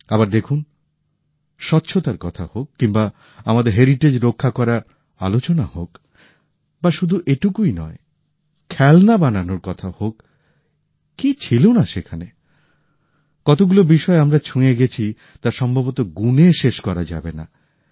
আবার দেখুন স্বচ্ছতার কথা হোক কিংবা আমাদের ঐতিহ্য রক্ষা করার আলোচনা হোক বা শুধু এটুকুই নয় খেলনা বানানোর কথা হোক কি ছিল না সেখানে কতগুলো বিষয় আমরা ছুঁয়ে গেছি তা সম্ভবত গুনে শেষ করা যাবে না